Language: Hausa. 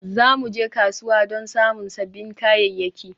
Za mu je kasuwa don samun sabbin kayayyaki